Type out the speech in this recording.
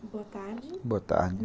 Boa tarde, boa tarde!